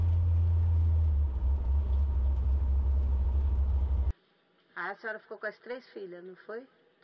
Eh. Aí a senhora ficou com as três filhas, não foi?